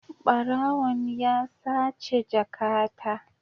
Barawon ya sace jakata.